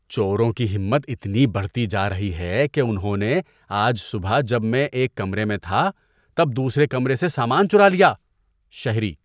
چوروں کی ہمت اتنی بڑھتی جا رہی ہے کہ انہوں نے آج صبح جب میں ایک کمرے میں تھا تب دوسرے کمرے سے سامان چرا لیا۔ (شہری)